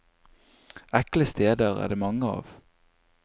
Ekle steder er det mange av.